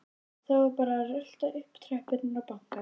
Það var bara að rölta upp tröppurnar og banka.